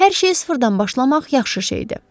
Hər şeyi sıfırdan başlamaq yaxşı şeydir.